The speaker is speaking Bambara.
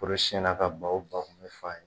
Foro siɲɛna ka baw ba kun bɛ f'a ye.